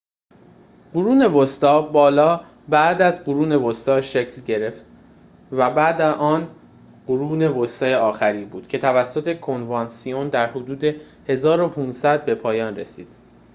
قرون وسطی بالا بعد از قرون وسطی شکل گرفت و بعد از آن قرون وسطی آخری بود که توسط کنوانسیون در حدود ۱۵۰۰ به پایان می رسد